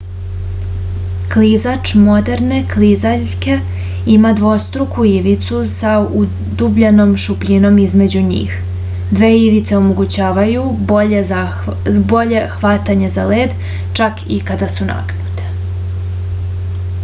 klizač moderne klizaljke ima dvostruku ivicu sa udubljenom šupljinom između njih dve ivice omogućavaju bolje hvatanje za led čak i kada su nagnute